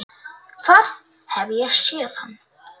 Hvar hef ég séð hann?